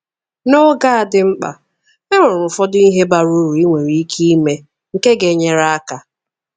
N'oge a dị mkpa, e nwere ụfọdụ ihe bara uru ị nwere ike ime nke ga-enyere aka.